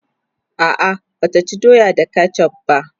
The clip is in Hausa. a'a Bata ci doya da ketchuf va